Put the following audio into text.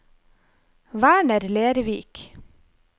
Werner Lervik